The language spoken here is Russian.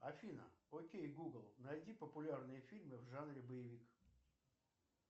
афина окей гугл найди популярные фильмы в жанре боевик